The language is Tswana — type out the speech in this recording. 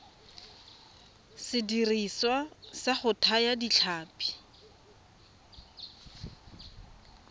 sediriswa sa go thaya ditlhapi